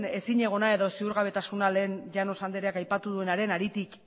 ezinegona edo ziurgabetasuna lehen llanos andreak aipaturenaren haritik